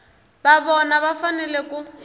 na vona va fanele ku